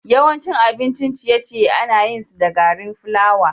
Yawancin abincin ciye-ciye ana yin su da gari flawa.